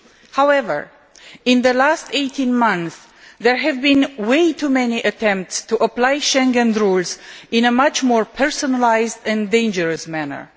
However, in the last 18 months there have been way too many attempts to apply Schengen rules in a much more personalised and dangerous manner.